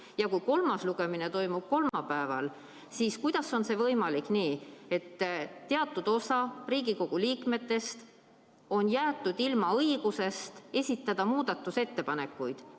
Ja kui kolmas lugemine toimub kolmapäeval, siis kuidas on see võimalik, kui teatud osa Riigikogu liikmetest on jäetud ilma õigusest esitada muudatusettepanekuid?